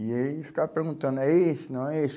E aí eles ficavam perguntando, é esse? Não. É esse?